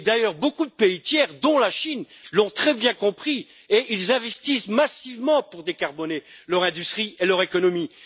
D'ailleurs, beaucoup de pays tiers, dont la Chine, l'ont très bien compris et investissent massivement pour décarboner leur industrie et leur économie.